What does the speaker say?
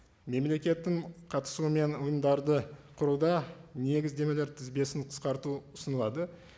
мемлекеттің қатысуымен ұйымдарды құруда негіздемелер тізбесін қысқарту ұсынылады